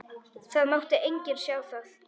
Það mátti enginn sjá það.